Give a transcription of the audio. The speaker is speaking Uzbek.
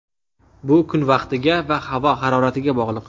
Bu kun vaqtiga va havo haroratiga bog‘liq.